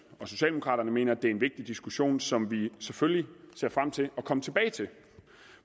og socialdemokraterne mener det er en vigtig diskussion som vi selvfølgelig ser frem til at komme tilbage til